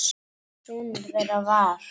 Sonur þeirra var